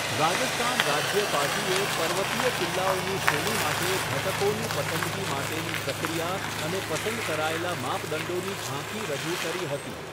રાજસ્થાન રાજ્ય પાર્ટીએ પર્વતીય કિલ્લાઓની શ્રેણી માટે ઘટકોની પસંદગી માટેની પ્રક્રિયા અને પસંદ કરાયેલા માપદંડોની ઝાંખી રજૂ કરી હતી.